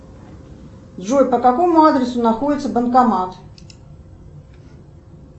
джой по какому адресу находится банкомат